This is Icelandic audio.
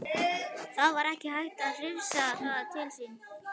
Það var ekki hægt að hrifsa það til sín.